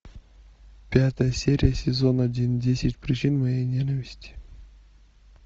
пятая серия сезон один десять причин моей ненависти